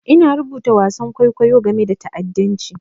Ina rubuta wasan kwaikwayo game da ta'addanci.